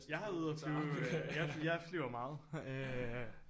Jeg havde ude og flyve jeg jeg flyver meget øh